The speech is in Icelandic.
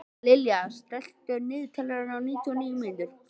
Dallilja, stilltu niðurteljara á níutíu og níu mínútur.